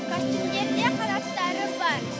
костюмдерде қанаттары бар